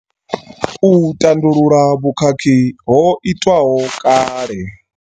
U tandulula vhukhakhi ho itwaho kale.